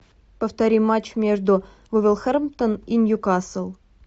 повтори матч между вулверхэмптон и ньюкасл